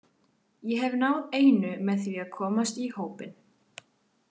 Ég hef náð einu með því að komast í hópinn.